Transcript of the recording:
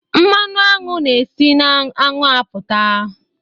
Mmanụ aṅụ na-esi na aṅụ apụta